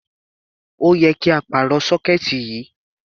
Ó yẹ kí á pàrọ̀ sọ́kẹ́ẹ̀tì yìí.